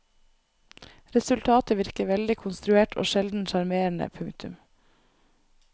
Resultatet virker veldig konstruert og sjelden sjarmerende. punktum